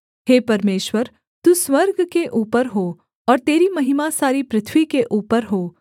हे परमेश्वर तू स्वर्ग के ऊपर हो और तेरी महिमा सारी पृथ्वी के ऊपर हो